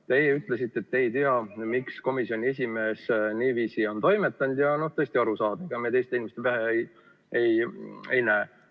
Te ütlesite, et te ei tea, miks komisjoni esimees niiviisi on toimetanud, ja see on täiesti arusaadav, sest ega me teiste inimeste pähe ei näe.